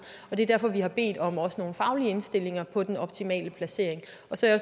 det er derfor vi også har bedt om nogle faglige indstillinger om den optimale placering så er